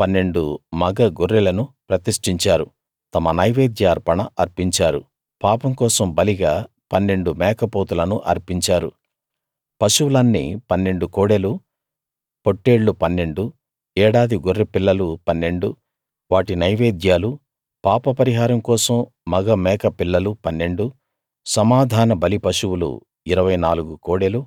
పన్నెండు మగ గొర్రెలను ప్రతిష్టించారు తమ నైవేద్య అర్పణ అర్పించారు పాపం కోసం బలిగా పన్నెండు మేకపోతులను అర్పించారు పశువులన్నీ పన్నెండు కోడెలు పొట్టేళ్లు పన్నెండు ఏడాది గొర్రెపిల్లలు పన్నెండు వాటి నైవేద్యాలు పాపపరిహారం కోసం మగ మేక పిల్లలు పన్నెండు సమాధానబలి పశువులు ఇరవై నాలుగు కోడెలు